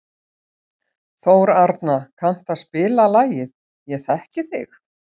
Þórarna, kanntu að spila lagið „Ég þekki þig“?